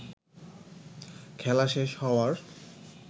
খেলা শেষ হওয়ার